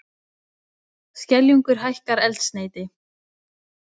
Skeljungur hækkar eldsneyti